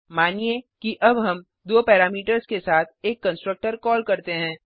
मानिए कि अब हम दो पैरामीटर्स के साथ एक कंस्ट्रक्टर कॉल करते हैं